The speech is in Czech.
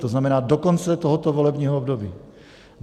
To znamená do konce tohoto volebního období.